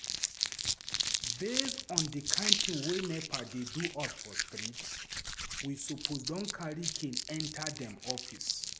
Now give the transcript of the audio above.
Based on di kind thing wey NEPA dey do us for street, we suppose don carry cane enter dem office.